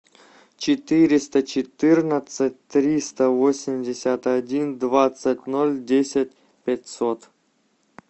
четыреста четырнадцать триста восемьдесят один двадцать ноль десять пятьсот